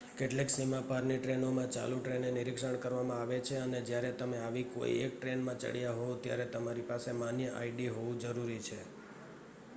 કેટલીક સીમા પારની ટ્રેનોમાં ચાલુ ટ્રેને નિરક્ષણ કરવામાં આવે છે અને જ્યારે તમે આવી કોઈ એક ટ્રેનમાં ચડયા હોવ ત્યારે તમારી પાસે માન્ય આઈડી હોવું જરૂરી છે